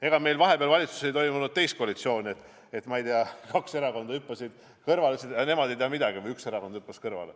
Ega meil vahepeal valitsuses ei olnud teist koalitsiooni, et, ma ei tea, kaks erakonda hüppasid kõrvale, et nemad ei tea midagi, või üks erakond hüppas kõrvale.